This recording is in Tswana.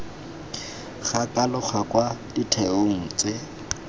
ga kalogo kwa ditheong tse